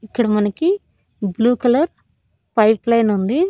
ఇక్కడ మనకి blue colour pipeline ఉంది.